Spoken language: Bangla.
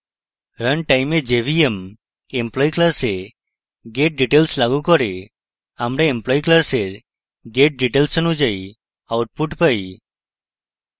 run time jvm employee class getdetails লাগু করে আমরা employee class getdetails অনুযায়ী output পাই